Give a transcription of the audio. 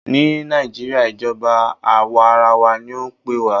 Ní nàìjíría, ìjọba àwàrawa ní o pé wa.